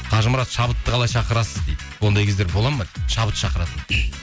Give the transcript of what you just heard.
қажымұрат шабытты қалай шақырасыз дейді ондай кездер болады ма дейді шабыт шақыратын